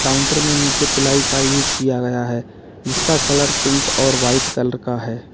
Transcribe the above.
Counter में नीचे पिलाई का यूज किया गया है जिसका कलर पिंक और वाइट कलर का है।